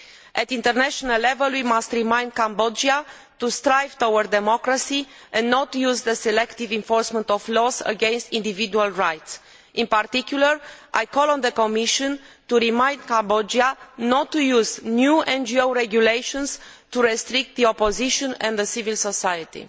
At international level, we must remind Cambodia to strive towards democracy and not use the selective enforcement of laws against individual rights. In particular, I call on the Commission to remind Cambodia not to use new NGO regulations to restrict the opposition and civil society.